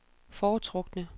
foretrukne